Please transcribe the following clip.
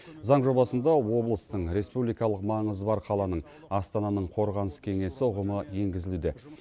заң жобасында облыстың республикалық маңызы бар қаланың астананың қорғаныс кеңесі ұғымы енгізілуде